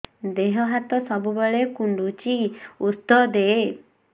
ଦିହ ହାତ ସବୁବେଳେ କୁଣ୍ଡୁଚି ଉଷ୍ଧ ଦେ